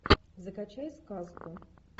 закачай сказку